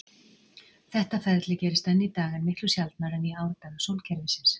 Þetta ferli gerist enn í dag, en miklu sjaldnar en í árdaga sólkerfisins.